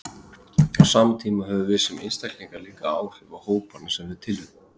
Á sama tíma höfum við sem einstaklingar líka áhrif á hópana sem við tilheyrum.